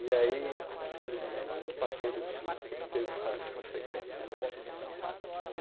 E aí, felizmente, não passou de um susto, não teve maiores consequências.